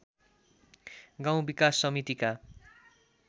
गाउँ विकास समितिका